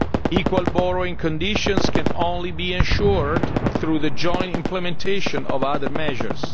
growth. Equal borrowing conditions can only be ensured through the joint implementation of other measures.